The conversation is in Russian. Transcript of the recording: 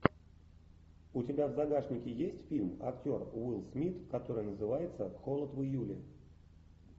у тебя в загашнике есть фильм актер уилл смит который называется холод в июле